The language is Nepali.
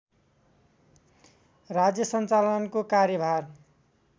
राज्य सञ्चालनको कार्यभार